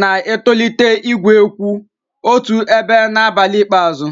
na-etolite igwe kwụ otu ebe n'abalị ikpeazụ.